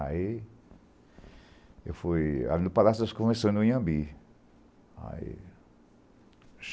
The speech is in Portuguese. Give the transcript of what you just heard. Aí, eu fui ali no Palácio das Comissões, no Inhambi. Ae